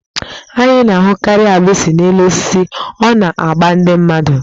Anyị na-ahụkarị agbịsị n'elu osisi, ọ na-agba ndị mmadụ.